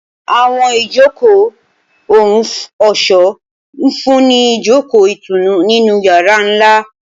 Awọn ijoko ohun ọṣọ nfunni ni ijoko itunu ninu yara nla.